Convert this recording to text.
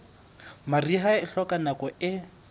mariha e hloka nako e